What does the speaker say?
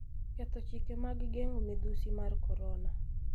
ketho chike mag geng'o midhusi mar korona